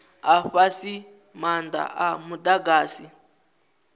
a fhasi maanda a mudagasi